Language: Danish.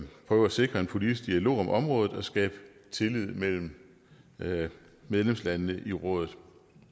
prøve at sikre en politisk dialog om området og skabe tillid mellem medlemslandene i rådet